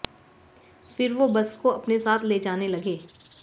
फिर वो बस को अपने साथ ले जाने लगे